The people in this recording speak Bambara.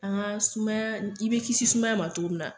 An ga sumaya i bi kisi sumaya ma togo min na